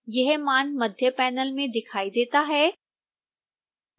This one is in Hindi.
यह मान मध्य पैनल में दिखाई देता है